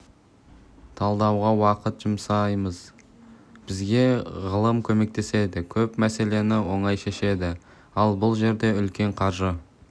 талдауға уақыт жұмсамаймыз бізге ғылым көмектеседі көп мәселені оңай шешеді ал бұл жерде үлкен қаржы